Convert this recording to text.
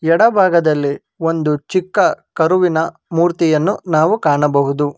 ಎಡಭಾಗದಲ್ಲಿ ಒಂದು ಚಿಕ್ಕ ಕರುವಿನ ಮೂರ್ತಿಯನ್ನು ನಾವು ಕಾಣಬಹುದು.